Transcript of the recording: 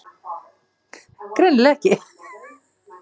Greinilega ekki.